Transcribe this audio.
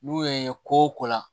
N'u ye ko la